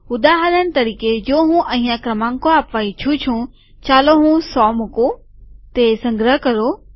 ઉદાહરણ તરીકે જો હું અહિયાં ક્રમાંકો આપવા ઈચ્છું છું ચાલો હું સો મુકું તે સંગ્રહ કરો